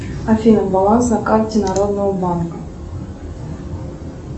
афина баланс на карте народного банка